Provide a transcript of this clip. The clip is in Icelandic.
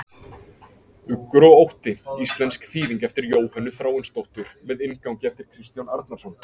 Uggur og ótti, íslensk þýðing eftir Jóhönnu Þráinsdóttur með inngangi eftir Kristján Árnason.